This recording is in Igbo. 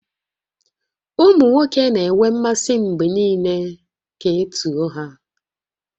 Ụmụ nwoke na-enwe mmasị mgbe niile ka e too ha